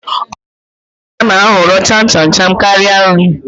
Ọtụtụ ụmụaka na-ahọrọ cham cham cham karịa nri